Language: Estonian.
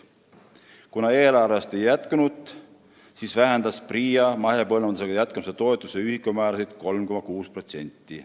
Kuna eelarves raha ei jätkunud, vähendas PRIA mahepõllumajandusega jätkamise toetuse ühikumäärasid 3,6%.